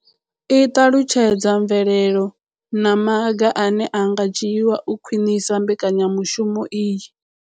I ṱalutshedza mvelelo na maga ane a nga dzhiwa u khwinisa mbekanyamushumo iyi.